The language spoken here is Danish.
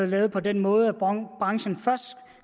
lavet på den måde at branchen først